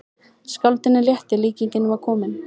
Skáldinu létti, líkingin var komin.